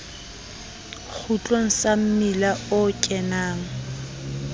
kgutlong sa mmila o kenang